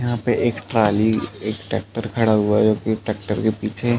यहाँ पे एक ट्राली एक टैक्टर पर खड़ा हुआ है। जो कि टैक्टर के पीछे--